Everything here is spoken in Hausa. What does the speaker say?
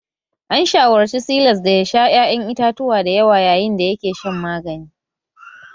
An shawarci Silas da ya sha ƴaƴan itatuwa dayawa yayin da yake shan magani